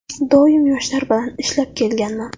Doim yoshlar bilan ishlab kelganman.